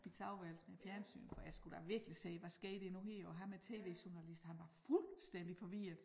Mit soveværelse med æ fjernsyn for jeg skulle da virkelig se hvad sker der nu her og ham æ tv-journalist han var fuldstændig forvirret